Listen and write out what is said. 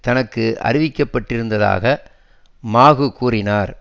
தனக்கு அறிவிக்கப்பட்டிருந்ததாக மாகு கூறினார்